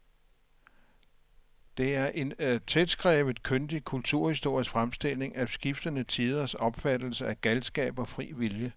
Det er en tætskrevet, kyndig kulturhistorisk fremstilling af skiftende tiders opfattelse af galskab og fri vilje.